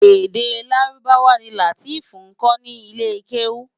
Èdè Lárúbáwá ni Lateef nkò ni ilé kéwú